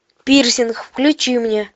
пирсинг включи мне